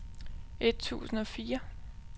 et tusind og fire